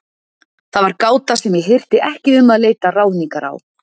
Það var gáta sem ég hirti ekki um að leita ráðningar á.